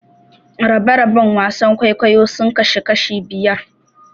Rabe-raben wasan kwaikwayo sun kasu kashi biyar.